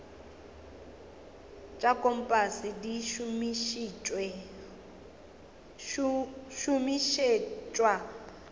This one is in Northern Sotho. tša kompase di šomišetšwa go